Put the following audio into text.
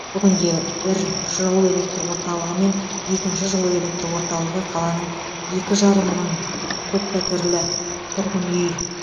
бүгінде бір жылу электр орталығы мен екінші жылу электр орталығы қаланың екі жарым мың көппәтерлі тұрғын үй